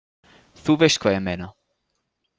Þú veist hvað ég meina.